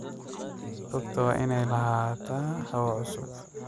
Rugta waa inay lahaataa hawo cusub.